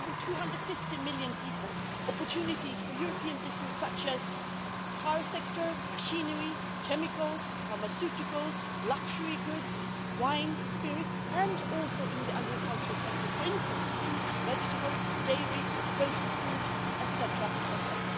There are more than 250 million people, opportunities for European businesses such as the car sector, machinery, chemicals, pharmaceuticals, luxury goods, wines, spirits and also in the agricultural sector, for instance fruits, vegetables, dairy, processed food, etc.